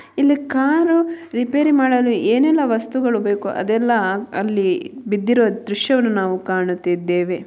ಇಲ್ಲಿ car repair ಮಾಡಲು ಏನೆಲ್ಲಾ ವಸ್ತುಗಳೂ ಬೇಕು ಅದೆಲ್ಲಾ ಅಲ್ಲಿ ಬಿದ್ದಿರುವ ದೃಶ್ಯವನ್ನು ನಾವು ಕಾಣುತ್ತಿದ್ದೇವೆ.